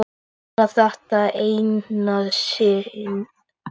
En bara þetta eina sinn.